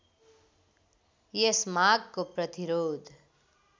यस मागको प्रतिरोध